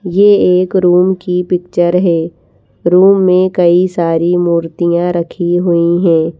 ये एक रूम की पिक्चर है रूम में कई सारी मूर्तियाँ रखी हुई हैं।